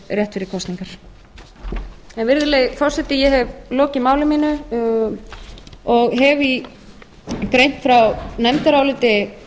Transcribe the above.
rétt fyrir kosningar virðulegi forseti ég hef lokið máli mínu og hef greint frá nefndaráliti